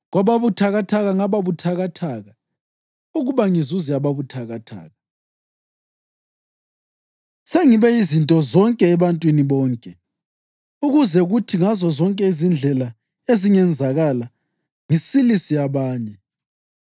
Kwababuthakathaka ngababuthakathaka, ukuba ngizuze ababuthakathaka. Sengibe yizinto zonke ebantwini bonke ukuze kuthi ngazozonke izindlela ezingenzakala ngisilise abanye.